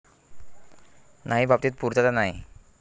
नाही बाबतीत पुर्तता नाही.